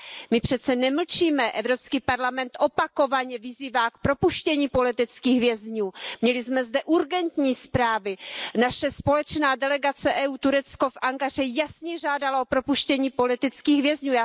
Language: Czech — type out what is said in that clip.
My přece nemlčíme, Evropský parlament opakovaně vyzývá k propuštění politických vězňů, měli jsme zde urgentní zprávy, naše společná delegace EU Turecko v Ankaře jasně žádala o propuštění politických vězňů.